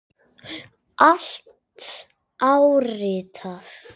Allt áritað.